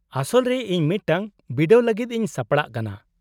-ᱟᱥᱚᱞ ᱨᱮ ᱤᱧ ᱢᱤᱫᱴᱟᱝ ᱵᱤᱰᱟᱹᱣ ᱞᱟᱹᱜᱤᱫ ᱤᱧ ᱥᱟᱯᱲᱟᱜ ᱠᱟᱱᱟ ᱾